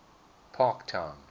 parktown